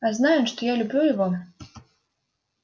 а знай он что я люблю его